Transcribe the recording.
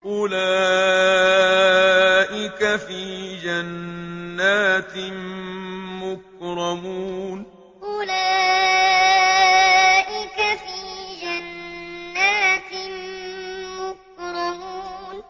أُولَٰئِكَ فِي جَنَّاتٍ مُّكْرَمُونَ أُولَٰئِكَ فِي جَنَّاتٍ مُّكْرَمُونَ